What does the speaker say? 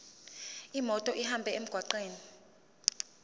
imoto ihambe emgwaqweni